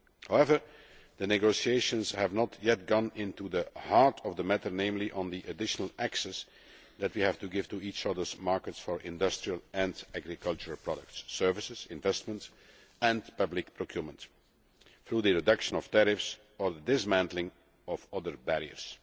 However, the negotiations have not yet gone into the heart of the matter, namely on the additional access that we have to give to each other for industrial and agricultural products, services, investments and public procurement through the reduction of tariffs or the dismantling of other barriers.